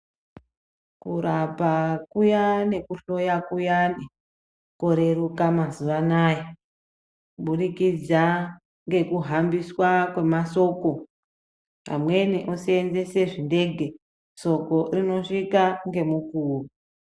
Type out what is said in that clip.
Kurapa kuyani nekuhloya kuyani koreruka mazuva anawa kuburikidza ngekuhambiswa kwemashoko amweni osenzesa zvindege somo rinosvika ngemukuwo.